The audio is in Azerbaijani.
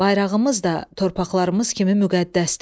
Bayrağımız da torpaqlarımız kimi müqəddəsdir.